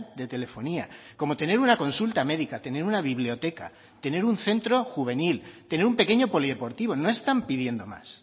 de telefonía como tener una consulta médica tener una biblioteca tener un centro juvenil tener un pequeño polideportivo no están pidiendo más